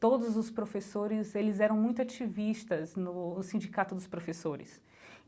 todos os professores eles eram muito ativistas no sindicato dos professores.